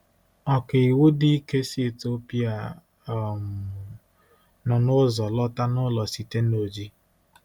Ọkàiwu dị ike si Etiopia um nọ n’ụzọ lọta n’ụlọ site na Oji.